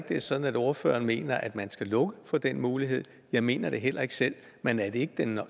det er sådan at ordføreren mener at man skal lukke for den mulighed jeg mener det heller ikke selv men er det ikke den